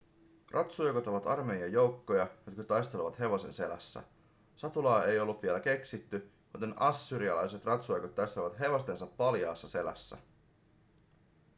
ratsujoukot ovat armeijan joukkoja jotka taistelevat hevosen selässä satulaa ei ollut vielä keksitty joten assyrialaiset ratsujoukot taistelivat hevostensa paljaassa selässä